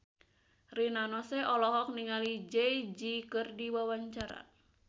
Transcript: Rina Nose olohok ningali Jay Z keur diwawancara